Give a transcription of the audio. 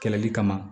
Kɛlɛli kama